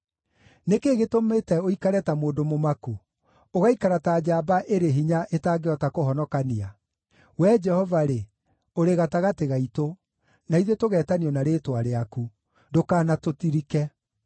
Nĩ kĩĩ gĩtũmĩte ũikare ta mũndũ mũmaku, ũgaikara ta njamba ĩrĩ hinya ĩtangĩhota kũhonokania? Wee Jehova-rĩ, ũrĩ gatagatĩ gaitũ, na ithuĩ tũgeetanio na rĩĩtwa rĩaku; ndũkanatũtirike!